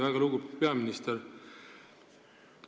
Väga lugupeetud peaminister!